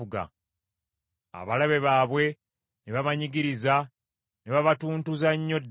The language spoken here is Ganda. Abalabe baabwe ne babanyigiriza, ne babatuntuza nnyo ddala.